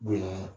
Bonya